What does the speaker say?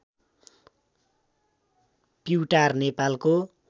प्युटार नेपालको